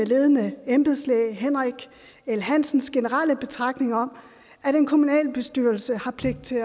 ledende embedslæge henrik l hansens generelle betragtning om at en kommunalbestyrelse har pligt til